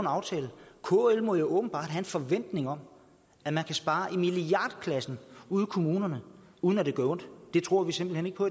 aftale kl må jo åbenbart have en forventning om at man kan spare i milliardklassen ude i kommunerne uden at det gør ondt det tror vi simpelt hen ikke på